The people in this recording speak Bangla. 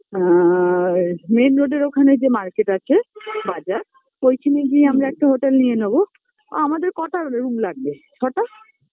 আর main road -এর ওখানে যে Market আছে বাজার তো ওইখানে গিয়ে আমরা একটা hotel নিয়ে নেব অ আমাদের কটা room লাগবে ছটা